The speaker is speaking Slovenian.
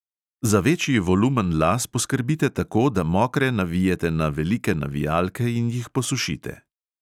Za večji volumen las poskrbite tako, da mokre navijete na velike navijalke in jih posušite.